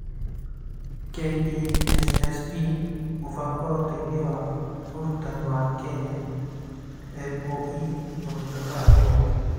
(KESSP) Mũbango wa Ũteithio wa Ũrutani wa Kenya (MoE)Ũtungata wa Gĩthomo